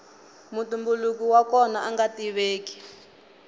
mutumbuluki wa kona anga tiveki